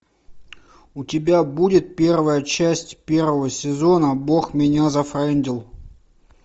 у тебя будет первая часть первого сезона бог меня зафрендил